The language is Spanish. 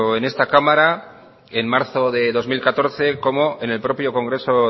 en esta cámara en marzo de dos mil catorce como en el propio congreso